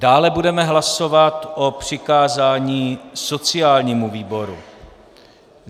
Dále budeme hlasovat o přikázání sociálnímu výboru.